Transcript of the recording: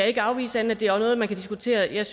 ikke afvise at det er noget man kan diskutere jeg